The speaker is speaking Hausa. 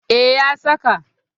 E, ya saka.